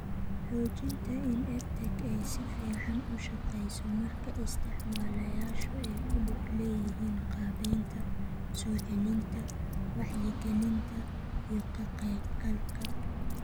Xoojinta in EdTech ay si fiican u shaqeyso marka isticmaalayaashu ay ku lug leeyihiin qaabaynta, soo celinta, wacyigelinta, iyo ka qaybgalka.